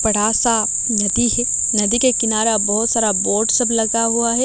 बड़ासा नदी हैं नदी के किनारा बहोत सारा बोट सब लगा हुवा हैं।